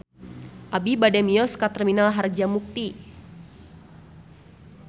Abi bade mios ka Terminal Harjamukti